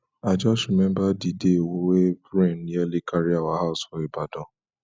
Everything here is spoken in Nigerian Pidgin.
i just rememba di day wey rain nearly carry our house for ibadan